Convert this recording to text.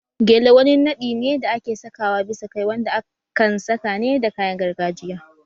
Gele wani naɗi ne da ake saka wa bisa kai wanda akan saka ne da kayan gargajiya